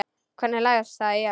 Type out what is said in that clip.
Hvernig lagðist það í hana?